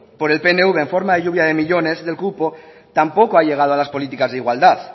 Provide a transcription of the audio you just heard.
por el pnv en forma de lluvia de millónes del cupo tampoco ha llegado a las políticas de igualdad